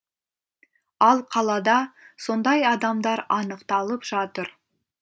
ал қалада сондай адамдар анықталып жатыр